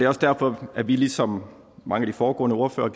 også derfor at vi ligesom mange af de foregående ordførere